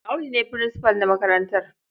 Audu ne furinsifal na makarantar.